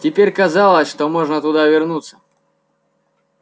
теперь казалось что можно туда вернуться